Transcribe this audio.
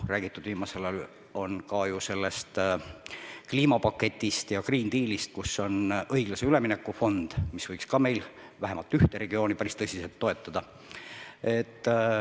Viimasel ajal on räägitud ka sellest kliimapaketist ja Green Dealist, kus on õiglase ülemineku fond, mis võiks ka meil vähemalt ühte regiooni päris tõsiselt toetada.